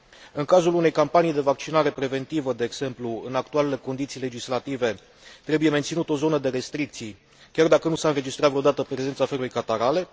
În cazul unei campanii de vaccinare preventivă, de exemplu, în actualele condiții legislative, trebuie menținută o zonă de restricții, chiar dacă nu s a înregistrat vreodată prezența febrei catarale.